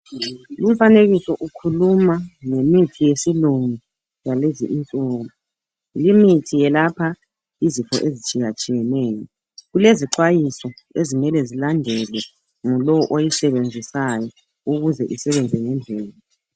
Lumfanekiso ukhuluma ngemithi yesilungu yalezi insuku. Le mithi eyelapha izifo ezitshiya tshiyeneyo. Kulezixwayiso ezimele zilandelwe ngolowo oyisebenzisayo ukuze isebenze ngendlela.